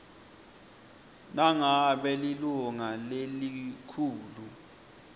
nangabe lilunga lelikhulu